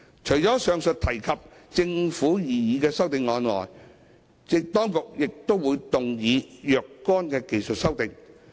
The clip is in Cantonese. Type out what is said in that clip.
除了以上提及的政府擬議修正案外，當局亦會動議若干技術修訂。